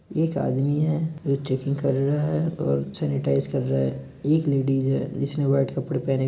एक आदमी है जो चेकिंग कर रा है और सेनेटाइस कर रा है। एक लेडीज है जिसने व्हाइट कपड़े पहने --